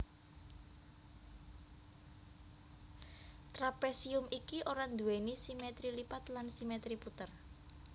Trapésium iki ora nduwèni simètri lipat lan simètri puter